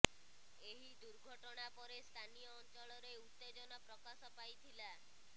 ଏହି ଦୁର୍ଘଟଣା ପରେ ସ୍ଥାନୀୟ ଅଞ୍ଚଳରେ ଉତ୍ତେଜନା ପ୍ରକାଶ ପାଇଥିଲା